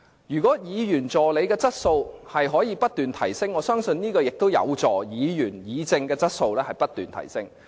如果議員助理的質素不斷提升，我相信議員議政的質素也會不斷提升。